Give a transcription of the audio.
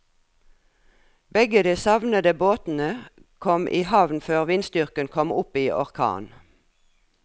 Begge de savnede båtene kom i havn før vindstyrken kom opp i orkan.